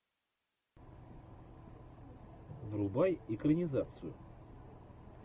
врубай экранизацию